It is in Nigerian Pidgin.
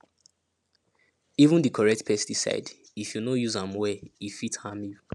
even di correct pesticide if you no use am well e fit harm you